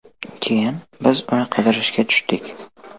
Keyin biz uni qidirishga tushdik.